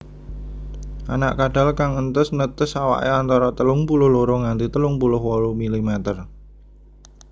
Anak kadal kang entes netes awake antara telung puluh loro nganti telung puluh wolu milimeter